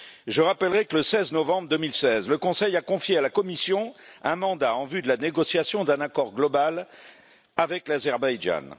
Je rappellerai que, le 16 novembre 2016, le Conseil a confié à la Commission un mandat en vue de la négociation d'un accord global avec l'Azerbaïdjan.